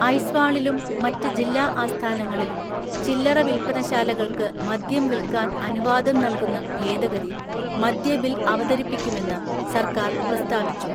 ഐസ്വാളിലും മറ്റ് ജില്ലാ ആസ്ഥാനങ്ങളിലും ചില്ലറ വിൽപ്പനശാലകൾക്ക് മദ്യം വിൽക്കാൻ അനുവാദം നൽകുന്ന ഭേദഗതി മദ്യ ബിൽ അവതരിപ്പിക്കുമെന്ന് സർക്കാർ പ്രസ്താവിച്ചു.